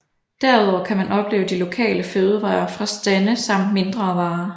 Derudover kan man opleve de lokale fødevarer fra stande samt mindre varer